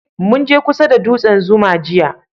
Mun je kusa da dutsen zuma jiya